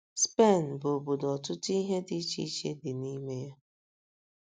SPEN bụ obodo ọtụtụ ihe dị iche iche dị n’ime ya.